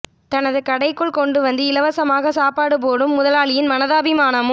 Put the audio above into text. தனது கடைக்குள் கொண்டு வந்து இலவசமாக சாப்பாடு போடும் முதலாளியின் மனதாபிமானமும்